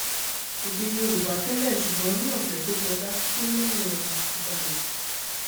èdè yorùbá tẹ́lẹ̀ ṣùgbọ́n ní ọ̀sẹ̀ tó kọjá gbólóhùn ọ̀hún ti balẹ̀